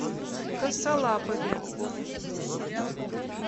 косолапове